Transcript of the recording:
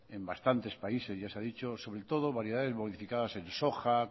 en bastantes países ya se ha dicho sobre todo variedades modificadas en soja